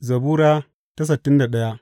Zabura Sura sittin da daya